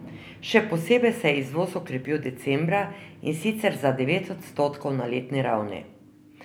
Še posebej se je izvoz okrepil decembra, in sicer za devet odstotkov na letni ravni.